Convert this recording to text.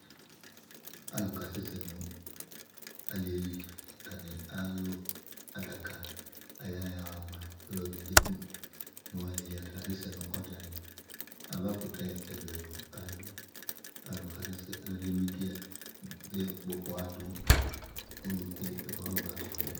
Alʋ kasɛsɛ nʋ aliyɛli, atani alʋ adaka, aya ha ama ɔlʋdi k'eku nʋ aliyɛli, atani asɛsɛ nʋ ɔdzani, avakʋtɛ ɛlʋ ɛlʋ, adʋ Alʋɛdini bi akpɔ ɔkpɔha dʋ ɔlʋku yɛ mɛ kɔfama ba tɔlɔ mɛ